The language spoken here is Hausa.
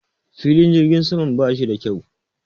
Filin jirgin sama ba shi da kyau